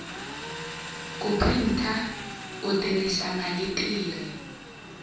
ku printa u tirhisa maletere